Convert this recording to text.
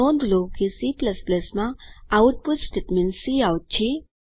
નોંધ લો કે C માં આઉટપુટ સ્ટેટમેન્ટ કાઉટ છે